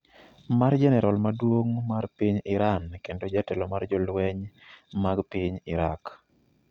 mar jenerol maduong’ mar piny Iran kendo jatelo mar jolweny mag piny Iraq